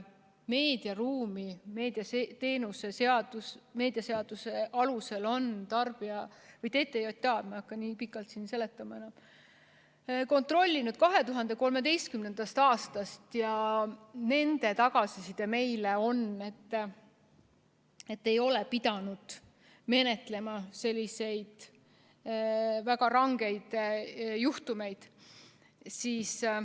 Meediaruumi on meediateenuste seaduse alusel TTJA kontrollinud 2013. aastast ja nende tagasiside meile on selline, et nad ei ole pidanud menetlema selliseid väga rangeid juhtumeid.